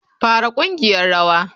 Fara ƙungiyar rawa.